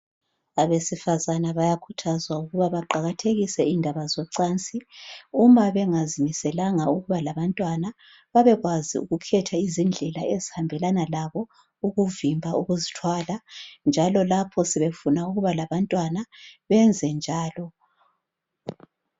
Abesifazana bayakhuthazwa ukuba baqakathekise indaba zocansi uma bengazimiselanga ukuba labantwana babekwazi ukukhetha izindlela ezihambelana labo ukuvimba ukuzithwala njalo lapho sebefuna ukuba labantwana benze njalo